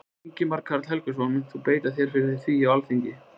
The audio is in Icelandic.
Ingimar Karl Helgason: Munt þú beita þér fyrir því á Alþingi?